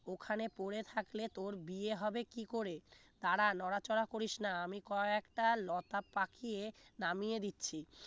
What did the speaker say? ওখানে পড়ে থাকলে তোর বিয়ে হবে কি করে দাঁড়া নড়াচড়া করিস না আমি কয়েকটা লতা পাকিয়ে নামিয়ে দিচ্ছি